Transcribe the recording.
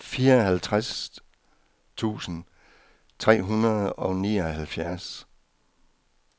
fireoghalvtreds tusind tre hundrede og nioghalvfjerds